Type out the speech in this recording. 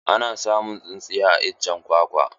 Ana samun tsintsiya a iccen kwakwa.